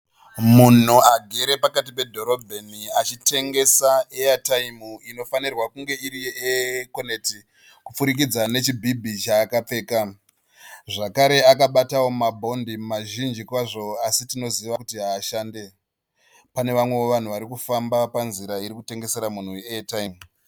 Munhu agere pakati pedhorobheni achitengesa eyataimu inofanirwa kunge iri ye'Econet', kupfurikidza nechibhibhi chakapfeka. Zvakare akabatawo mabondi mazhinji kwazvo asi tinoziva kuti haashande. Pane vamwewo vanhu vari kufamba panzira iri kutengesera munhu uyu eyataimu.